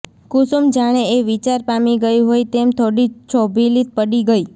કુસુમ જાણે એ વિચાર પામી ગઈ હોય તેમ થોડી છોભીલી પડી ગઈ